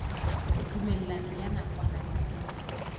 tumellano ya nakwana le seng